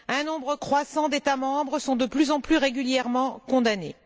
Un nombre croissant d'États membres sont de plus en plus régulièrement condamnés.